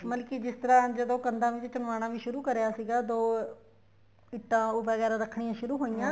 ਮਤਲਬ ਕੀ ਜਿਸ ਤਰ੍ਹਾਂ ਜਦੋਂ ਕੰਧਾ ਵਿੱਚ ਚੁਣਵਾਣਾ ਵੀ ਸ਼ੁਰੂ ਕਰਿਆ ਸੀਗਾ ਦੋ ਇੱਟਾਂ ਵਗੈਰਾ ਰੱਖਣੀਆਂ ਸ਼ੁਰੂ ਹੋਈਆਂ